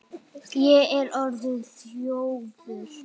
Ég er orðinn þjófur.